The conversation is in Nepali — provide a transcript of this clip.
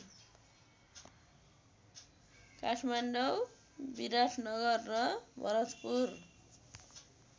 काठमाडौँ विराटनगर र भरतपुर